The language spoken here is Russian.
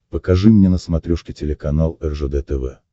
покажи мне на смотрешке телеканал ржд тв